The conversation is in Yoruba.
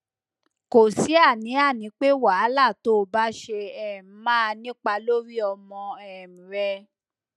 kò sí àníàní pé wàhálà tó o bá ṣe um máa nípa lórí ọmọ um rẹ